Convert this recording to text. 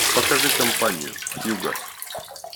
покажи компанию хьюго